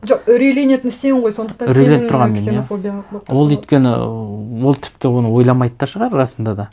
жоқ үрейленетін сен ғой сондықтан сен үрейленіп тұрған мен иә ол өйткені ол тіпті оны ойламайды да шығар расында да